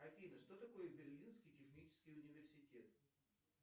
афина что такое берлинский технический университет